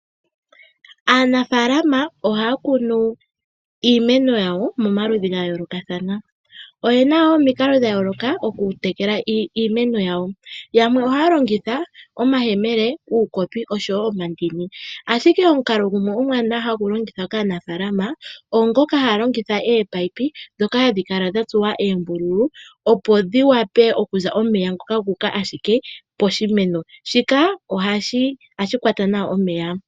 Aanafaalama ohaya kunu iimeno yawo momaludhi gayoolokathana. Oyena woo omikalo dha yooloka okutekela iimeno yawo. Yamwe ohaya longitha omayemele, uukopi oshowo omandini. Ashiki omukalo gumwe omwaanawa hagu longithwa kaanafalama ogo ngoka haya longitha oopayipi ndhoka hadhi kala dha tsuwa oombululu opo dhi vule okuza omeya ngoka guuka ashike poshimeno. Shika ohashi kwata nawa omeya.